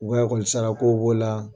U ka lakɔlisarakow b'o la